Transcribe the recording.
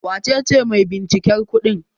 Wace ce maibinciken kudin?